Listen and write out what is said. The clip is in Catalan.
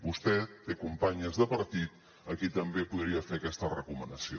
vostè té companyes de partit a qui també podria fer aquesta recomanació